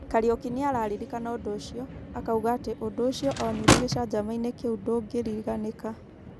Kariũki nĩ araririkana ũndũ ũcio .Akauga atĩ ũndũ ũcio onire gicanjama-ini kiũ ndũngĩriganĩka.